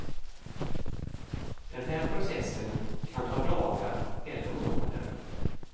Den här processen kan ta dagar eller månader.